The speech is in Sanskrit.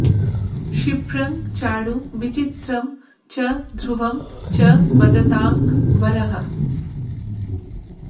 क्षिप्रं चाणु विचित्रं च ध्रुवं च वदतां वरः